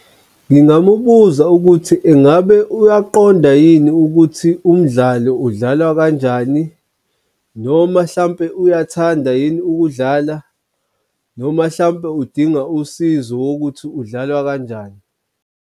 Ngingamubuza ukuthi ingabe uyaqonda yini ukuthi umdlalo udlalwa kanjani noma hlampe uyathanda yini ukudlala noma hlampe udinga usizo wokuthi udlalwa kanjani.